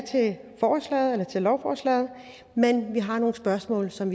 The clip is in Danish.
til lovforslaget men vi har nogle spørgsmål som